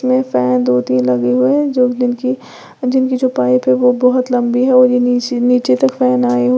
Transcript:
ये फैन दो तीन लगे हुए हैं जो जिनकी जिनकी जो पाइप है वो बोहोत लंबी है और ये नीची नीचे तक फैन आए हु --